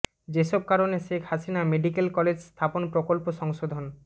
যেসব কারণে Sheikh Hasina medical college স্থাপন প্রকল্প সংশোধন